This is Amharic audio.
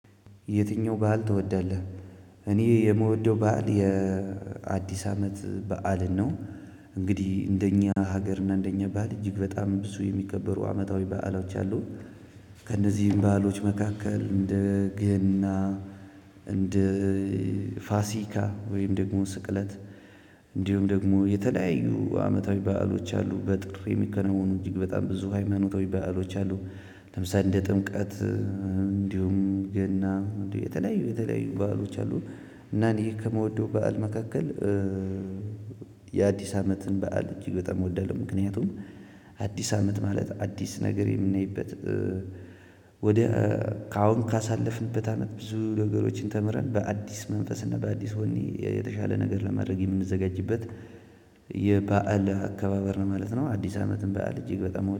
የትኛው በዓል ትወዳለህ? እኔ የምወደው በዓል የአዲስ አመት በዓልን ነው። እንግዲህ እንደኛ ሀገር እና እንደኛ ባህል እጅግ በጣም ብዙ የሚከበሩ አመታዊ በዓሎች አሉን። ከእነዚህም ባአሎች መካከል እንደ ገና እንደ ፋሲካ ወይም ደግሞ ስቅለት እንዲሁም ደግሞ የተለያዩ አመታዊ በዓሎች አሉ በጥር የሚከናወኑ እጅግ በጣም ብዙ ሃይማኖታዊ በዓሎች አሉ። ለምሳሌ እንደ ጥምቀት እንዲሁም ገና የተለያዩ የተለያዩ በዓሎች አሉ። እና እኔ ከምወደው በዓል መካከል የአዲስ አመትን በዓል እጅግ በጣም እወዳለሁ። ምክንያቱም። አዲስ አመት ማለት አዲስ ነገር የምናይበት። ወደ ከአሁን ካሳለፍንበት አመት ብዙ ነገሮችን ተምረን በአዲስ መንፈስ እና በአዲስ ወኔ የተሻለ ነገር ለማድረግ የምንዘጋጅበት የበአል አከባበር ነው ማለት ነው። አዲስ አመትን በዓል እጅግ በጣም